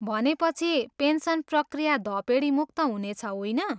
भनेपछि, पेन्सन प्रक्रिया धपेडीमुक्त हुनेछ, होइन?